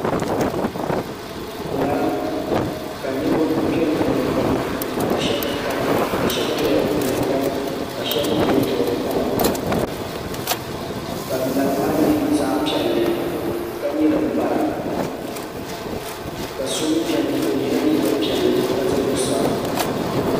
ŋarim ka niriba be di puuni pam ka shɛba doya n-vuhira ka shɛba mi beni n-duɣiri koma ka ŋarim maa nyɛ zaɣ' piɛlli ka nyɛ din bara ka so mi beni o yela liiga piɛlli ka za zuɣusaa.